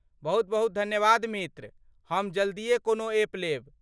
बहुत बहुत धन्यवाद मित्र ,हम जल्दिए कोनो एप लेब।